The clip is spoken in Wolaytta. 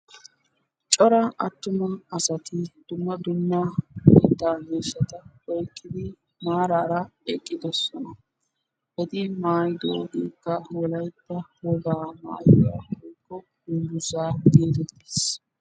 cora atumma asati dumma dumma yetta miishshata oyqqidi maarara eqqidoosna. eti maayidoogekka Wolaytta wogaa maayuwa woykko dungguzza getettees.